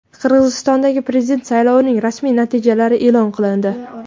Qirg‘izistondagi prezident saylovining rasmiy natijalari e’lon qilindi.